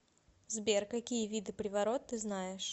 сбер какие виды приворот ты знаешь